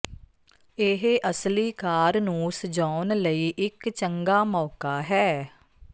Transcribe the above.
ਇਹ ਅਸਲੀ ਕਾਰ ਨੂੰ ਸਜਾਉਣ ਲਈ ਇੱਕ ਚੰਗਾ ਮੌਕਾ ਹੈ